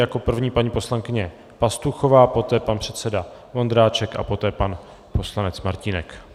Jako první paní poslankyně Pastuchová, poté pan předseda Vondráček a poté pan poslanec Martínek.